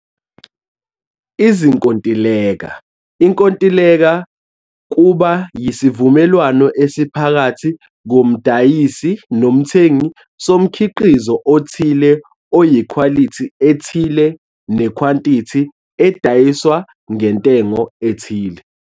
Izinkontileka - inkontileka kuba yisivumelwano esiphakathi komdayisi nomthengi somkhiqizo othile oyikhwalithi ethile nekhwantithi edayiswa ngentengo ethile.